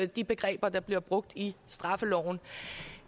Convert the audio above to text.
de begreber der bliver brugt i straffeloven